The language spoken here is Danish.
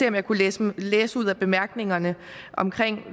om jeg kunne læse læse ud af bemærkningerne